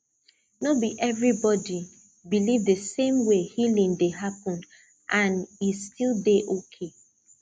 no be everybody believe the same way healing dey happen and e still dey okay